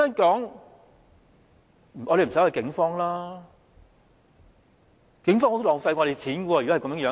如果是這樣，警方是十分浪費我們金錢的。